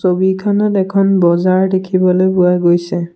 ছবিখনত এখন বজাৰ দেখিবলৈ পোৱা গৈছে।